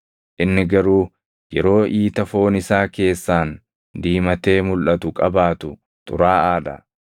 Inni garuu yeroo iita foon isaa keessaan diimatee mulʼatu qabaatu xuraaʼaa dha.